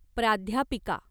प्राध्यापिका